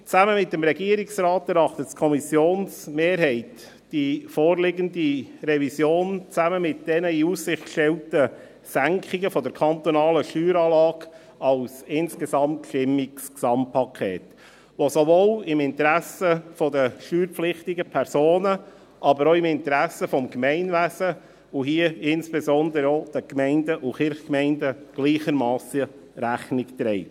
Zusammen mit dem Regierungsrat erachtet die Kommissionsmehrheit die vorliegende Revision zusammen mit den in Aussicht gestellten Senkungen der kantonalen Steueranlage als ein insgesamt stimmiges Gesamtpaket, das sowohl dem Interesse der steuerpflichtigen Personen, als aber auch dem Interesse des Gemeinwesens, und hier insbesondere auch der Gemeinden und Kirchgemeinden, gleichermassen Rechnung trägt.